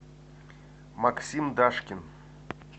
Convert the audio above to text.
максим дашкин